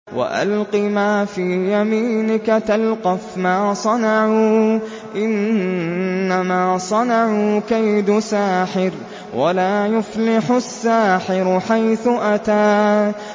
وَأَلْقِ مَا فِي يَمِينِكَ تَلْقَفْ مَا صَنَعُوا ۖ إِنَّمَا صَنَعُوا كَيْدُ سَاحِرٍ ۖ وَلَا يُفْلِحُ السَّاحِرُ حَيْثُ أَتَىٰ